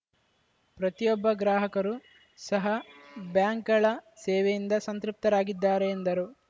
ಪ್ರತಿಯೊಬ್ಬ ಗ್ರಾಹಕರು ಸಹ ಬ್ಯಾಂಕ್‌ಗಳ ಸೇವೆಯಿಂದ ಸಂತೃಪ್ತರಾಗಿದ್ದಾರೆ ಎಂದರು